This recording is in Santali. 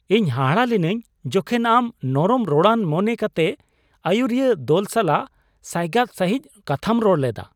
ᱤᱧ ᱦᱟᱦᱟᱲᱟᱜ ᱞᱤᱱᱟᱹᱧ ᱡᱚᱠᱷᱮᱱ ᱟᱢ ᱱᱚᱨᱚᱢ ᱨᱚᱲᱟᱱ ᱢᱚᱱᱮ ᱠᱟᱛᱮᱜ ᱟᱹᱭᱩᱨᱤᱭᱟᱹ ᱫᱚᱞ ᱥᱟᱞᱟᱜ ᱥᱟᱭᱜᱟᱫ ᱥᱟᱹᱦᱤᱡ ᱠᱟᱛᱷᱟᱢ ᱨᱚᱲ ᱞᱮᱫᱟ ᱾